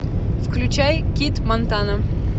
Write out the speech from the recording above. включай кит монтана